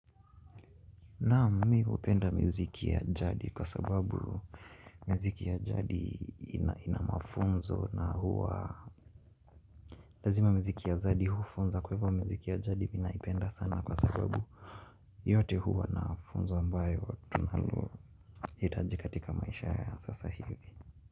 Naam mi hupenda miziki ya jadi kwa sababu miziki ya jadi ina mafunzo na huwa lazima miziki ya jadi hufunza kwa hivyo miziki ya jadi ninaipenda sana kwa sababu yote huwa na funzo ambayo tunalohitaji katika maisha ya sasa hivi.